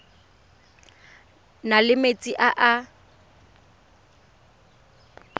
na le metsi a a